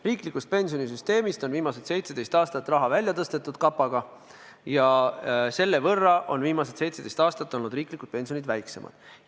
Riiklikust pensionisüsteemist on viimased 17 aastat raha kapaga välja tõstetud ja selle võrra on viimased 17 aastat riiklikud pensionid väiksemad olnud.